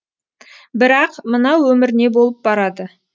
бірақ мына өмір не болып барады